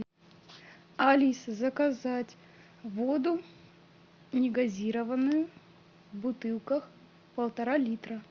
алиса заказать воду негазированную в бутылках полтора литра